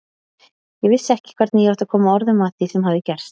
Ég vissi ekki hvernig ég átti að koma orðum að því sem hafði gerst.